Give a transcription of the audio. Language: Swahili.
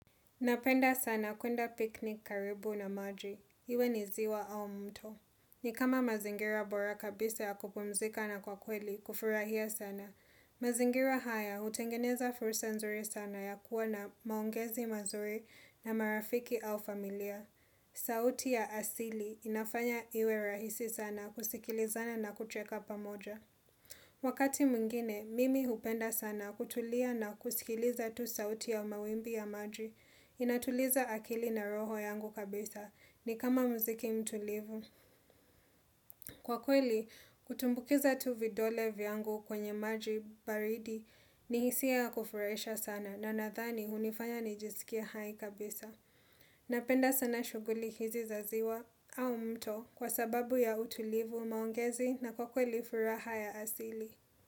Napenda sana kuenda piknik karibu na maji. Iwe ni ziwa au mto. Ni kama mazingira bora kabisa ya kupumzika na kwa kweli, kufurahia sana. Mazingira haya utengeneza fursa nzuri sana ya kuwa na maongezi mazuri na marafiki au familia. Sauti ya asili inafanya iwe rahisi sana kusikilizana na kucheka pamoja. Wakati mwingine, mimi hupenda sana kutulia na kusikiliza tu sauti ya mawimbi ya maji. Inatuliza akili na roho yangu kabisa ni kama muziki mtulivu. Kwa kweli, kutumbukiza tu vidole vyangu kwenye maji baridi ni hisia ya kufuraisha sana na nadhani unifanya nijisikie hai kabisa. Napenda sana shuguli hizi za ziwa au mto kwa sababu ya utulivu maongezi na kwa kweli furaha ya asili.